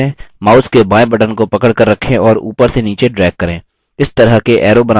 mouse के बायें button को पकड़कर रखें और ऊपर से नीचे drag करें